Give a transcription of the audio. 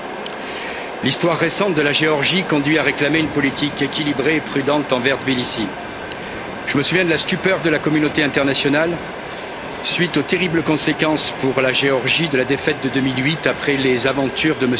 Monsieur le Président, l'histoire récente de la Géorgie conduit à réclamer une politique équilibrée et prudente envers Tbilissi. Je me souviens de la stupeur de la communauté internationale, à la suite des terribles conséquences pour la Géorgie de la défaite de 2008, après les aventures de M.